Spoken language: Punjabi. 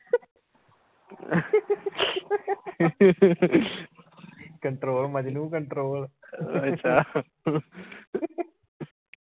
control Majnu control